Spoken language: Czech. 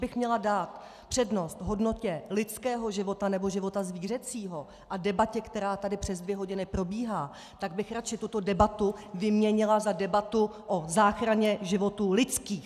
Kdybych měla dát přednost hodnotě lidského života, nebo života zvířecího a debatě, která tady přes dvě hodiny probíhá, tak bych radši tuto debatu vyměnila za debatu o záchraně životů lidských!